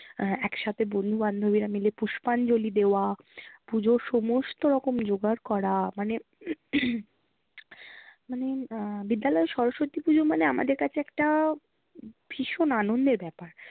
আহ একসাথে বন্ধু বান্ধবিরা মিলে পুষ্পাঞ্জলি দেওয়া। পুজোর সমস্ত রকম জোগাড় করা। মানে মানে আহ বিদ্যালয়ে সরস্বতী পুজো মানে আমাদের কাছে একটা ভীষণ আনন্দের ব্যাপার